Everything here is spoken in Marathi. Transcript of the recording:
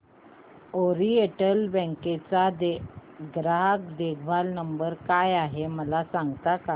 ओरिएंटल बँक चा ग्राहक देखभाल नंबर काय आहे मला सांगता का